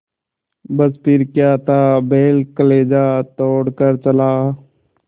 बस फिर क्या था बैल कलेजा तोड़ कर चला